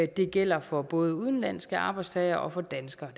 det gælder for både udenlandske arbejdstagere og for danskere